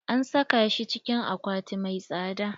An saka shi cikin akwati mai tsada.